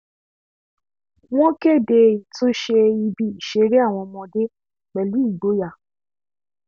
wọ́n kéde ìtúnṣe ibi ìṣeré àwọn ọmọde pẹ̀lú ìgboyà